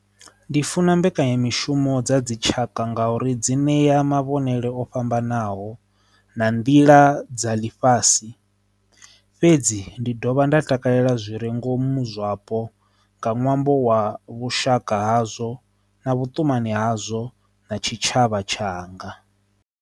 Ndi funa mbekanyamishumo dza dzi tshaka ngauri dzi ṋea mavhengele o fhambanaho na nḓila dza ḽifhasi, fhedzi ndi dovha nda takalela zwire ngomu zwapo nga ṅwambo wa vhushaka hazwo na vhutumani hazwo na tshitshavha tshanga.